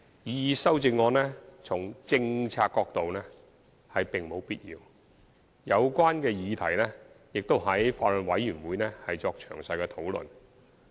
擬議修正案從政策角度而言並無必要，有關議題亦已於法案委員會作詳細討論。